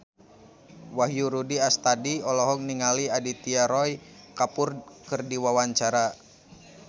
Wahyu Rudi Astadi olohok ningali Aditya Roy Kapoor keur diwawancara